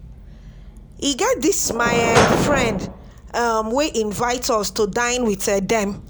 E get dis my um friend um wey invite us to dine with um dem